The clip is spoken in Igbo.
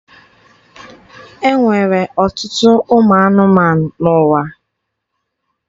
E nwere ọtụtụ anụmanụ n'ụwa.